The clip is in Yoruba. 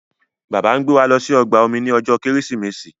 Bàbá ngbé wá ló sì ọgbà omi ní ojó Kérésìmesì.